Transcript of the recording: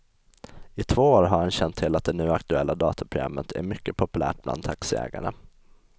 I två år har han känt till att det nu aktuella dataprogrammet är mycket populärt bland taxiägarna.